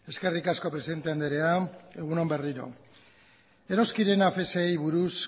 eskerrik asko presidente andrea egun on berriro eroskirena afsi buruz